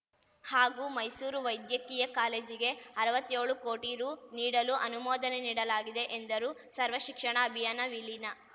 ಹಾಗೂ ಮೈಸೂರು ವೈದ್ಯಕೀಯ ಕಾಲೇಜಿಗೆ ಅರ್ವತ್ಯೋಳು ಕೋಟಿ ರು ನೀಡಲು ಅನುಮೋದನೆ ನೀಡಲಾಗಿದೆ ಎಂದರು ಸರ್ವ ಶಿಕ್ಷಣ ಅಭಿಯಾನ ವಿಲೀನ